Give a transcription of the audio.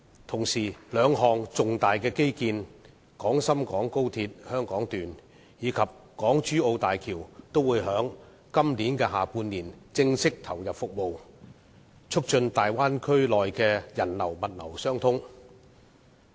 同時，兩項重大基建：廣深港高速鐵路香港段及港珠澳大橋也會在今年下半年正式投入服務，促進大灣區內的人流和物流相通。